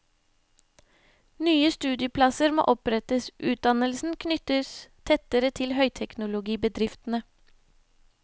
Nye studieplasser må opprettes, utdannelsen knyttes tettere til høyteknologibedriftene.